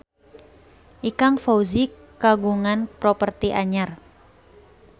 Ikang Fawzi kagungan properti anyar